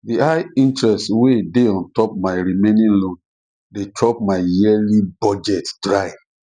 the high interest wey dey on top my my remaining loan dey chop my yearly budget dry